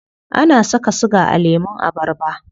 Ana saka siga a lemun abarba?